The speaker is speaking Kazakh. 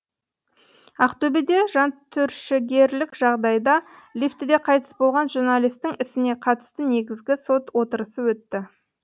ақтөбеде жантүршігерлік жағдайда лифтіде қайтыс болған журналистің ісіне қатысты негізгі сот отырысы өтті